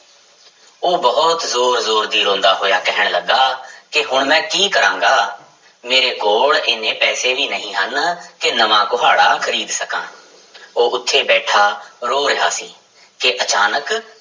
ਉਹ ਬਹੁਤ ਜ਼ੋਰ ਜ਼ੋਰ ਦੀ ਰੋਂਦਾ ਹੋਇਆ ਕਹਿਣ ਲੱਗਾ, ਕਿ ਹੁਣ ਮੈਂ ਕੀ ਕਰਾਂਗਾ ਮੇਰੇ ਕੋਲ ਇੰਨੇ ਪੈਸੇ ਵੀ ਨਹੀਂ ਹਨ ਕਿ ਨਵਾਂ ਕੁਹਾੜਾ ਖ਼ਰੀਦ ਸਕਾਂ ਉਹ ਉੱਥੇ ਬੈਠਾ ਰੋ ਰਿਹਾ ਸੀ ਕਿ ਅਚਾਨਕ